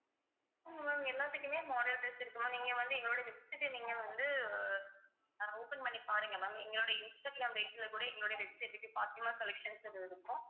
ma'am எல்லாத்துக்குமே model dress இருக்கு ma'am நீங்க வந்து எங்களோட website அ நீங்க வந்து ஆஹ் open பண்ணி பாருங்க ma'am எங்களுடைய இன்ஸ்டாகிராம் page ல கூட எங்களோட website க்கு பாத்திமா collections ன்னு இருக்கும்